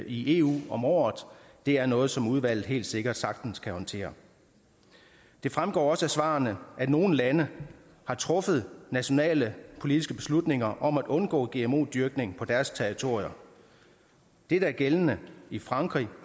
i eu om året det er noget som udvalget helt sikkert sagtens kan håndtere det fremgår også af svarene at nogle lande har truffet nationale politiske beslutninger om at undgå gmo dyrkning på deres territorier det der er gældende i frankrig